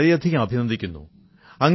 ഞാൻ വളരെയധികം അഭിനന്ദിക്കുന്നു